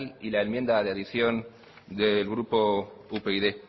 y la enmienda de adición del grupo upyd